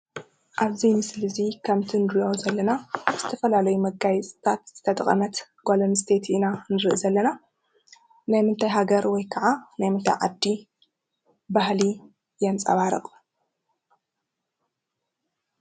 አብ እዚ ምስሊ እዚ ከምቲ እንሪኦ ዘለና ካብ ዝተፈላለዩ መጋየፅታት ዝተጠቀመት ጓል አንስተይቲ ኢና ንሪኢ ዘለና። ናይ ምንታይ ሀገር ወይ ካዓ ናይ ምንታይ ዓዲ ባህሊ የንፃባርቕ?